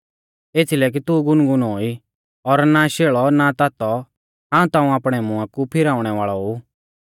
एथीलै कि तू गुनगुनौ ई और ना शेल़ौ ना तातौ हाऊं ताऊं आपणै मुआं कु फिराउणै वाल़ौ ऊ